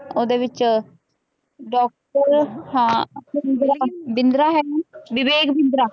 ਉਹਦੇ ਵਿੱਚ ਡਾਕਟਰ ਹਾਂ ਬਿੰਦਰਾ ਬਿੰਦਰਾ ਹੈ ਵਿਵੇਕ ਬਿੰਦਰਾ